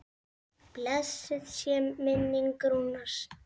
Blessuð sé minning Rúnars.